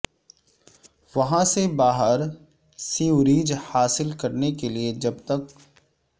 وہاں سے باہر سیوریج حاصل کرنے کے لئے جب تک